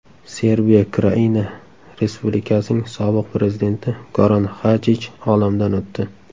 Serbiya Kraina Respublikasining sobiq prezidenti Goran Xajich olamdan o‘tdi.